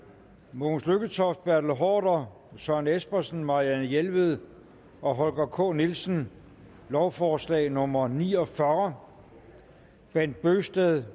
mogens lykketoft bertel haarder søren espersen marianne jelved og holger k nielsen lovforslag nummer l ni og fyrre bent bøgsted